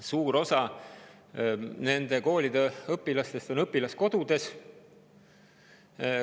Suur osa nende koolide õpilastest elab õpilaskodudes.